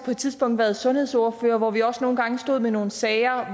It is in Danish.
tidspunkt været sundhedsordfører hvor vi også nogle gange stod med nogle sager